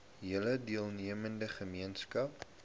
hele deelnemende gemeenskap